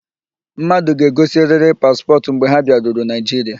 Mmadụ ga-egosiriri paspọtụ mgbe ha bịaruru Naịjiria.